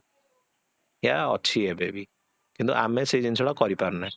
ଏହା ଅଛି ଏବେବି କିନ୍ତୁ ଆମେ ସେ ଜିନିଷଟା କରି ପାରୁନେ